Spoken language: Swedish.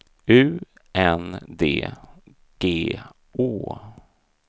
U N D G Å